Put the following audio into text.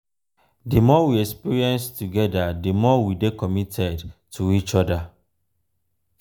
the more we experience together di more we dey committed to each other.